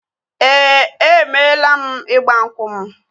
Ee, emeela m ịgba nkwụ m